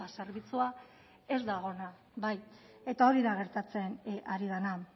zerbitzua ez da ona eta hori da gertatzen ari dena